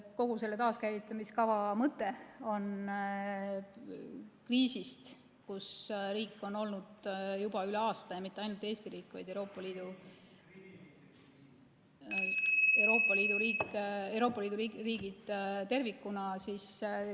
Kogu selle taaskäivitamiskava mõte on just nimelt sellest kriisist, kus riik on olnud juba üle aasta – ja mitte ainult Eesti riik, vaid Euroopa Liidu riigid tervikuna –, välja juhtimiseks.